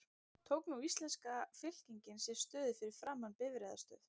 Tók nú íslenska fylkingin sér stöðu fyrir framan bifreiðastöð